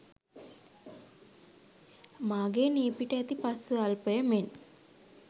මාගේ නියපිට ඇති පස් ස්වල්පය මෙන්